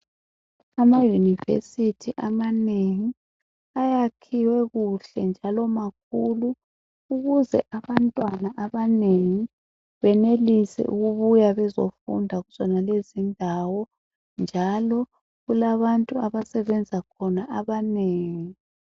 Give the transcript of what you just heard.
AmaYunivesithi amanengi ayakhiwe kuhle njalo makhulu ukuze abantwana abanengi benelise ukubuya bezofunda kuzonalezi indawo njalo kulabantu abasebenza khona abanengi.